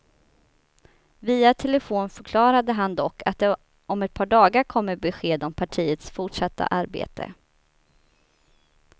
Via telefon förklarade han dock att det om ett par dagar kommer besked om partiets fortsatta arbete.